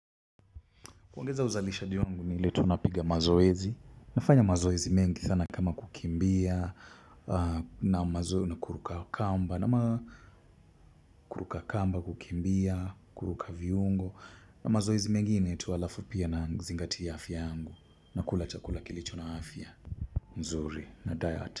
Kuongeza uzalishaji wangu ni ile tu napiga mazoezi, nafanya mazoezi mengi sana kama kukimbia na mazoezi na kuruka kamba na ma kuruka kamba kukimbia kuruka viungo na mazoezi mengine tu halafu pia nazingatia afya yangu na kula chakula kilicho na afya mzuri na diet.